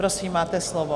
Prosím, máte slovo.